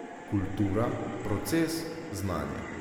Kultura, proces, znanje.